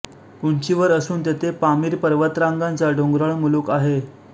उंचीवर असून तेथे पामीर पर्वतंरागांचा डोंगराळ मुलूख आहे